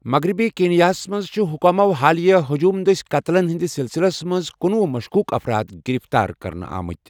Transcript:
مغرِبی کیٖنِیاہس منٛز چھِ حُکامو حالَٕیہ ہجوٗم دسہِ قتلن ہندِ سسِلسِلس منزکنُۄہُ مشكوُك افراد گِرِفتار کٔرنہٕ آمٕتہِ ۔